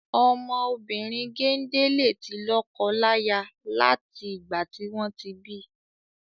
Ọmọ obìrin gende le ti lọ́kọ láyà lati igba tí wọn ti bi.